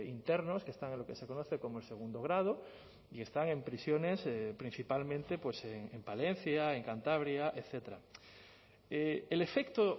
internos que están en lo que se conoce como el segundo grado y están en prisiones principalmente en palencia en cantabria etcétera el efecto